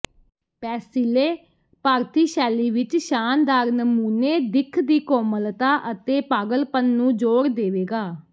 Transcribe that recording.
paisley ਭਾਰਤੀ ਸ਼ੈਲੀ ਵਿਚ ਸ਼ਾਨਦਾਰ ਨਮੂਨੇ ਦਿੱਖ ਦੀ ਕੋਮਲਤਾ ਅਤੇ ਪਾਗਲਪਨ ਨੂੰ ਜੋੜ ਦੇਵੇਗਾ